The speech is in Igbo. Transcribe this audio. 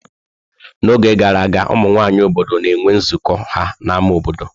N'oge gara aga, ụmụ nwanyị obodo na-enwe nzukọ ha n'ámá obodo.